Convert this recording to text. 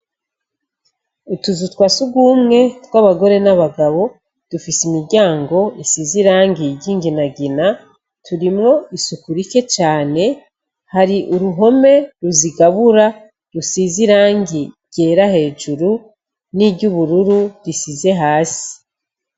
Utuzu twa sugumwe twabagore nabagabo dufise imiryango isize irangi ryinginagina turimwo isuku rike cane hari uruhome ruzigabura rusize irangi ryera hejuru niryubururu risize hasi .